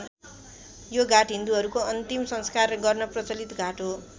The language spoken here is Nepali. यो घाट हिन्दूहरूको अन्तिम संस्कार गर्न प्रचलित घाट हो।